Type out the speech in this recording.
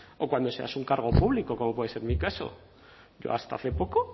o cuando seas un cargo público como puede ser mi caso yo hasta hace poco